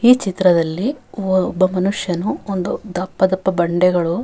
ಈ ಚಿತ್ರದಲ್ಲಿ ಒಬ್ಬ ಮನುಷ್ಯನು ಒಂದು ದಪ್ಪ ದಪ್ಪ ಬಂಡೆಗಳು --